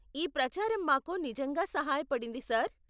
ఈ ప్రచారం మాకు నిజంగా సహాయపడింది, సార్.